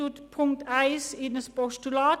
Ich wandle die Ziffer 1 in ein Postulat.